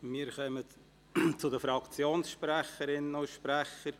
Wir kommen zu den Fraktionssprecherinnen und -sprechern.